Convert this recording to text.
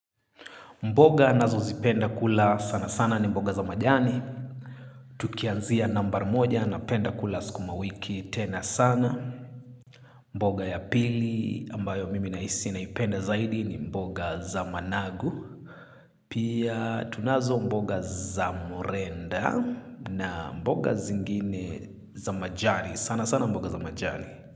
Mboga nazo zipenda kula sana sana ni mboga za majani. Tukianzia nambari moja na penda kula sukuma wiki tena sana. Mboga ya pili ambayo mimi nahisi na penda zaidi ni mboga za managu. Pia tunazo mboga za murenda na mboga zingine za majani. Sana sana mboga za majani.